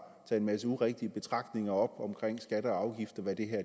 sig en masse urigtige betragtninger omkring skatter og afgifter hvad det her